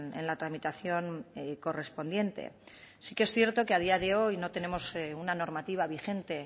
en la tramitación correspondiente sí que es cierto que a día de hoy no tenemos una normativa vigente